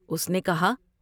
اس نے کہا ۔